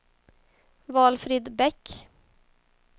Valfrid Bäck